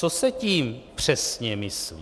Co se tím přesně myslí?